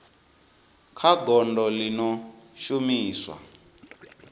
kha gondo ḽi no shumiswa